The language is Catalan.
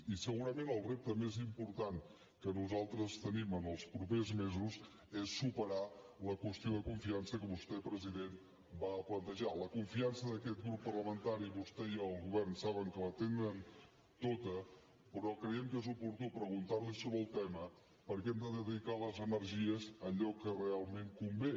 i segurament el repte més important que nosaltres tenim en els propers mesos és superar la qüestió de confiança que vostè president va plantejar la confiança d’aquest grup parlamentari vostè i el govern saben que la tenen tota però creiem que és oportú preguntar li sobre el tema perquè hem de dedicar les energies a allò que realment convé